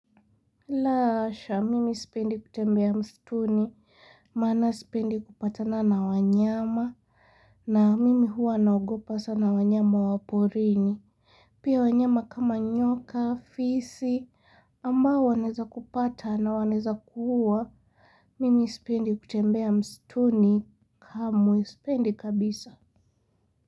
Lahasha, mimi sipendi kutembea msituni, maana sipendi kupatana na wanyama, na mimi huwa naogopa sa na wanyama waporini. Pia wanyama kama nyoka, fisi, ambao wanaeza kupata na wanaeza kuua, mimi sipendi kutembea msituni kamwe sipendi kabisa.